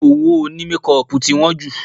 Owó òní mékọpù tí wọ́n jù